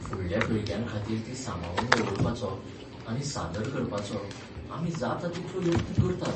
फुडल्या पिळग्यांखातीर तीं सांबाळून दवरपाचो आनी सादर करपाचो आमी जाता तितलो यत्न करतात.